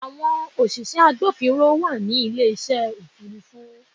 Àwọn òṣìṣẹ́ agbófinró wà ní ilé ìṣe Òfurufú.